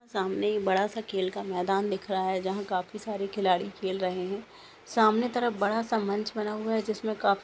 सामने एक बड़ा सा खेल का मैदान दिख रहा है जहा काफी सारे खिलाड़ी खेल रहे है सामने तरफ बड़ा सा मंच बना हुआ है जिसमे काफी--